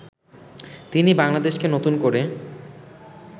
তিনি বাংলাদেশকে নতুন করে